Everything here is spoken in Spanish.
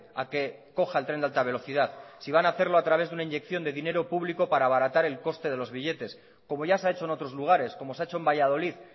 a que coja el tren de alta velocidad si van hacerlo a través de una inyección de dinero público para abaratar el coste de los billetes como ya se ha hecho en otros lugares como se ha hecho en valladolid